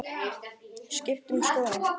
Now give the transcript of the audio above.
Skipt um skoðun.